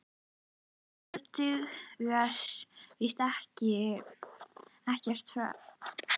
En það dugar víst ekkert að fást um það.